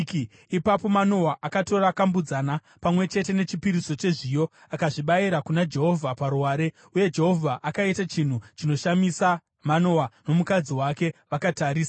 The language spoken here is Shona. Ipapo Manoa akatora kambudzana, pamwe chete nechipiriso chezviyo, akazvibayira kuna Jehovha paruware. Uye Jehovha akaita chinhu chinoshamisa, Manoa nomukadzi wake vakatarisa: